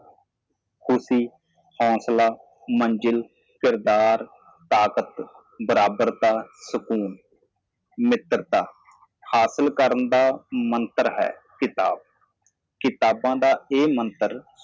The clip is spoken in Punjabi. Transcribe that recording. ਖੁਸ਼ੀ ਹੁਸਲਾ ਮੰਜ਼ਿਲ ਅੱਖਰ ਅੱਖਰ ਬਰਾਬਰ ਆਰਾਮ ਦੋਸਤੀ ਪ੍ਰਾਪਤ ਕਰਨ ਲਈ ਮੰਤਰ ਕਿਤਾਬ ਕਿਤਾਬਾਂ ਦਾ ਇਹ ਮੰਤਰ